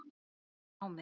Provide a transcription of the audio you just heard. Hann sótti námið.